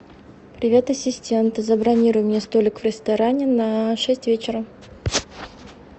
привет ассистент забронируй мне столик в ресторане на шесть вечера